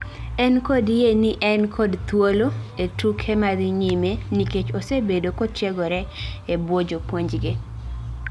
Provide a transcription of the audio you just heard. En kod yie ni en kod thuolo ee tuke madhi nyime nikech osebedo kotiegoro e bwo jopuonjge